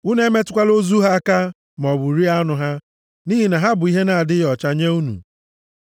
Unu emetụkwala ozu ha aka maọbụ rie anụ ha, nʼihi na ha bụ ihe na-adịghị ọcha nye unu.